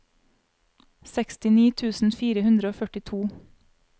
sekstini tusen fire hundre og førtito